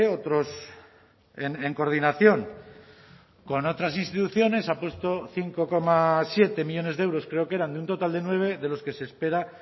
otros en coordinación con otras instituciones ha puesto cinco coma siete millónes de euros creo que eran de un total de nueve de los que se espera